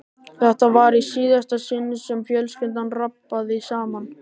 Þetta var í síðasta sinn sem fjölskyldan rabbaði saman.